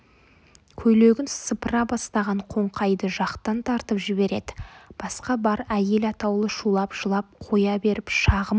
көйлегін сыпыра бастаған қоңқайды жақтан тартып жібереді басқа бар әйел атаулы шулап жылап қоя беріп шағым